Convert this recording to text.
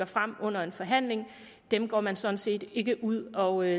frem under en forhandling dem går man sådan set ikke ud og